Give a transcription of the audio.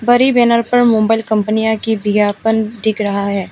Banner पर mobile कंपनियां की विज्ञापन दिख रहा है।